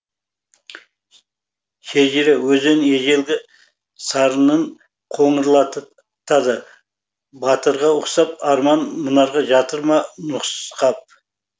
шежіре өзен ежелгі сарынын қоңырлатады батырға ұқсап арман мұнарға жатыр ма нұсқап